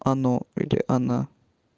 оно или она